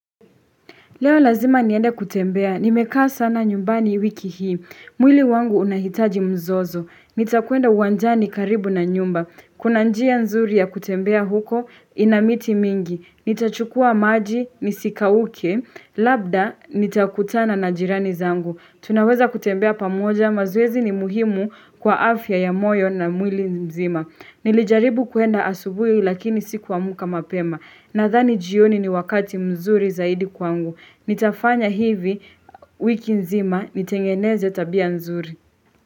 Leo lazima niende kutembea, nimekaa sana nyumbani wiki hii. Mwili wangu unahitaji mzozo. Nitakwenda uwanjani karibu na nyumba. Kuna njia nzuri ya kutembea huko, inamiti mingi. Nitachukua maji, nisikauke. Labda, nitakutana na jirani zangu. Tunaweza kutembea pamoja, mazoezi ni muhimu kwa afya ya moyo na mwili mzima. Nilijaribu kuenda asubuhi lakini sikuamka mapema. Nadhani jioni ni wakati mzuri zaidi kwangu. Nitafanya hivi wiki nzima, nitengeneze tabia nzuri.